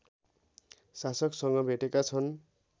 शासकसँग भेटेका छन्